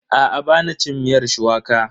Aa, ba na cin miyar shuwaka.